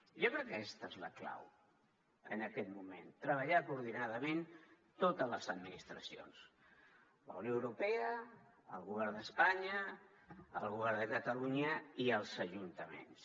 jo crec que aquesta és la clau en aquest moment treballar coordinadament totes les administracions la unió europea el govern d’espanya el govern de catalunya i els ajuntaments